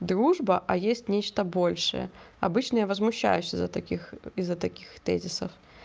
дружба а есть нечто большее обычная возмущаюсь из-за таких из-за таких тезисов